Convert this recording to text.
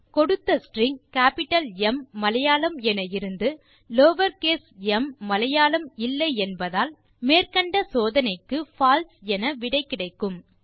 இப்போது கொடுத்த string capital M Malayalam என இருந்து லோயர் கேஸ் எம் மலையாளம் இல்லை என்பதால் மேற்கண்ட சோதனைக்கு பால்சே என விடை கிடைக்கும்